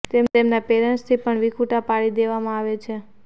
તેમને તેમના પેરેન્ટ્સથી પણ વિખૂટા પાડી દેવામાં આવે છે